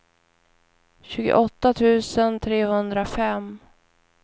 tjugoåtta tusen trehundrafem